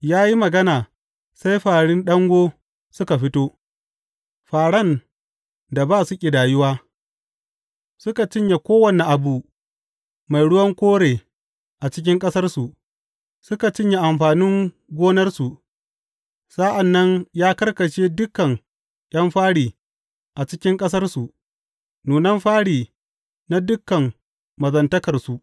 Ya yi magana, sai fāri ɗango suka fito, fāran da ba su ƙidayuwa; suka cinye kowane abu mai ruwan kore a cikin ƙasarsu, suka cinye amfanin gonarsu Sa’an nan ya karkashe dukan ’yan fari a cikin ƙasarsu, nunan fari na dukan mazantakarsu.